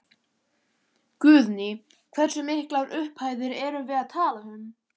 Guðný: Hversu miklar upphæðir erum við að tala um?